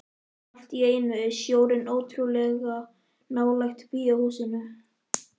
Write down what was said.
Allt í einu er sjórinn ótrúlega nálægt bíóhúsinu.